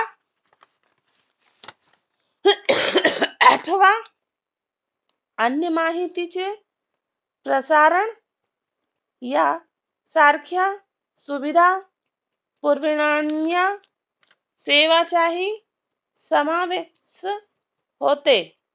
अन्य माहितीचे प्रसारण या सारख्या सुविधा सेवाचाही समावेश होते